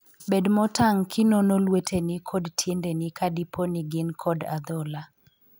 Bed motang' kinono lueteni kod tiendeni ka dipo ni gin kod adhola.